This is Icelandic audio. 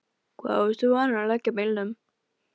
Hvar varstu vanur að leggja bílnum?